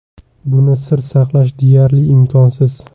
Buni sir saqlash deyarli imkonsiz.